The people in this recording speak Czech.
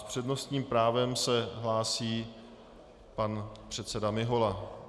S přednostním právem se hlásí pan předseda Mihola.